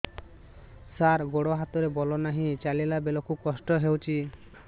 ସାର ଗୋଡୋ ହାତରେ ବଳ ନାହିଁ ଚାଲିଲା ବେଳକୁ କଷ୍ଟ ହେଉଛି